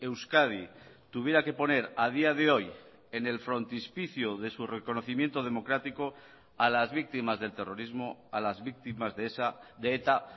euskadi tuviera que poner a día de hoy en el frontispicio de su reconocimiento democrático a las víctimas del terrorismo a las víctimas de eta